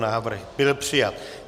Návrh byl přijat.